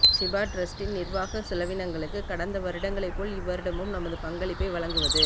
ஷிபா டிரஸ்டின் நிர்வாக செலவினங்களுக்கு கடந்த வருடங்களை போல் இவ்வருடமும் நமது பங்களிப்பை வழங்குவது